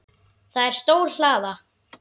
Það er stór hlaða.